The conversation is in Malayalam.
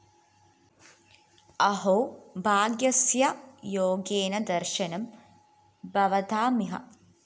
അഹോ ഭാഗ്യസ്യ യോഗേന ദര്‍ശനം ഭവതാമിഹ